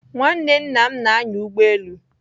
Nwanne nna m na-anya ụgbọ elu.